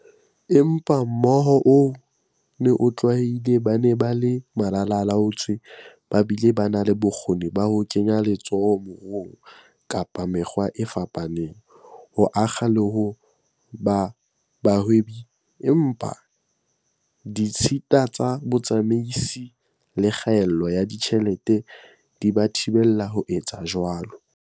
Empa mohoo oo o ne o tlwaelehile- ba ne ba le malala-a-laotswe ba bile ba na le bokgoni ba ho kenya letsoho moruong ka mekgwa e fapaneng, ho akga le ho ba bahwebi, empa ditshita tsa bo tsamaisi le kgaello ya ditjhelete di ba thibela ho etsa jwalo.